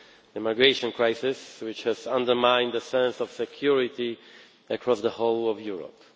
the migration crisis, which has undermined the sense of security across the whole of Europe.